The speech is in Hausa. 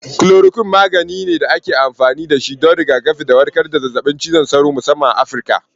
Chloroquine magani ne da ake amfani da shi don rigakafi da warkar da cutar zazzabin cizon sauro, musamman a Afirka.